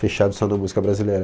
fechado só na música brasileira.